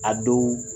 A dɔw